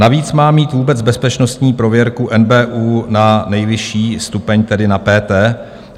Navíc má mít vůbec bezpečnostní prověrku NBÚ na nejvyšší stupeň, tedy na PT?